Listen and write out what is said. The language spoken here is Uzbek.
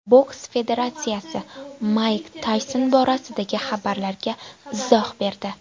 Boks federatsiyasi Mayk Tayson borasidagi xabarlarga izoh berdi.